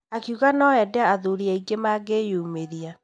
Akiuga no mende athuri aingĩ mangĩyumĩria.